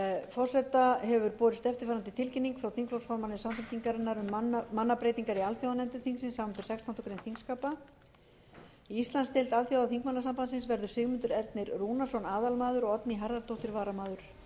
forseta hefur borist eftirfarandi tilkynning frá þingflokksformanni samfylkingarinnar um mannabreytingar í alþjóðanefndum þingsins samanber sextándu grein þingskapa í íslandsdeild alþjóðaþingmannasambandsins verður sigmundur ernir rúnarsson aðalmaður oddný harðardóttir varamaður í